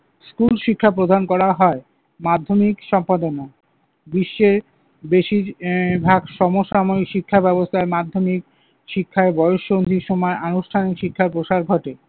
School শিক্ষা প্রদান করা হয়। মাধ্যমিক সম্পাদনা, বিশ্বে বেশির আহ ভাগ সমসাময়িক শিক্ষা ব্যবস্থার মাধ্যমে শিক্ষায় বয়ঃসন্ধির সময় আনুষ্ঠানিক শিক্ষার প্রসার ঘটে।